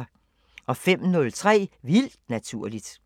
05:03: Vildt Naturligt